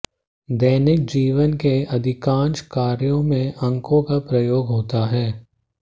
दैनिक जीवन के अधिकांश कार्यों में अंकों का प्रयोग होता है